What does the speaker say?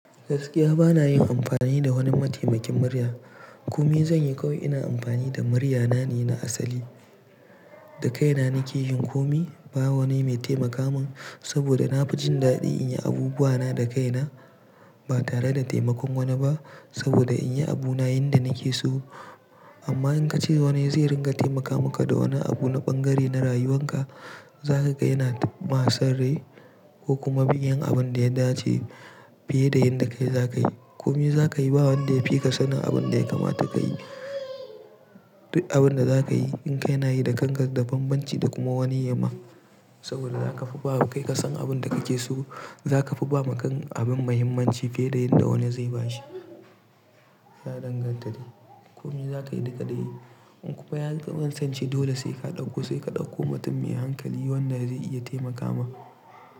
Gaskiya bana yin amfani da wani mataimakin murya. Komi zan yi kawai ina amfani da murya nane na asali. Dakaina nake yin komi. Ba wani mai taimaka min saboda na fi jin daɗin in yi abubuwa na dakaina ba tare da taimakon wani ba saboda in yi abuna yanda nake so. Amma in ka ce wani zai ringa taimaka maka da wani abu na bangare na rayuwanka, za ka ga yana ma san rai ko kuma bai yin abin da ya dace fiye da yanda kai za ka yi. Komi za ka yi ba wanda ya fi ka sanin abin da ya kamata ka yi. Duk abin da za ka yi in ka yi na yi da kangar da banbanci da kuma wani yayi ma saboda za ka fi ba kai ka san abin da kake so. Za ka fi ba ma abin muhimmanci fiye da yanda wani zai ba shi. Ya danganta dai. Komi zaka yi kai kadai. In kuma ya kasanci dole sai ka ɗauko, sai ka ɗauko mutum mai hankali wanda zai iya taimaka ma.